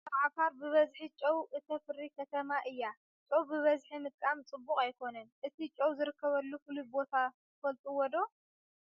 ኣብ ዓፋር ብበዝሒ ጨው እታፍሪ ከተማ እያ ። ጨው ብበዝሒ ምጥቃም ዕቡቅ ኣይኮነን ።እቲ ጠው ዝርከበሉ ፍሉይ ቦታ ትፍልጥዎ ዶ ?